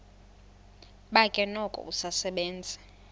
bakhe noko usasebenza